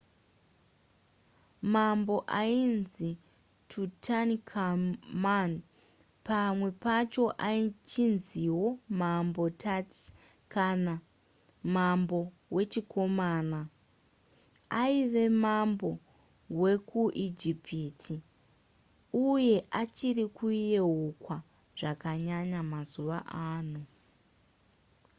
mambo ainzi tutankhamun pamwe pacho achinziwo mambo tut kana mambo wechikomana aiva mambo wekuijipiti uye achiri kuyeukwa zvakanyanya mazuva ano